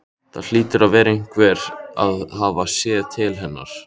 Það hlýtur einhver að hafa séð til hennar.